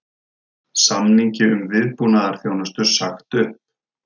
Samningi um viðbúnaðarþjónustu sagt upp